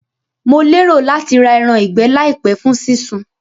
Mo lérò láti ra eran ìgbẹ́ làìpé fún sí sun